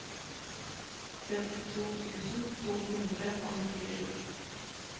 femtito tusen to hundre og nittisju